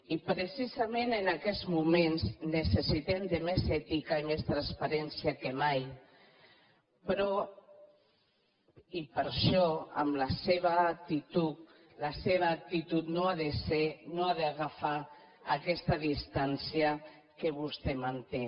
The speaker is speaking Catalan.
i precisament en aquests moments necessitem més ètica i més transparència que mai i per això la seva actitud no ha d’agafar aquesta distància que vostè manté